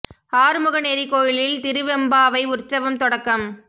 ஆறுமுகனேரி கோயிலில் திருவெம்பாவை உற்வசம் தொடக்கம்